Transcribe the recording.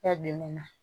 Kɛ bi ne na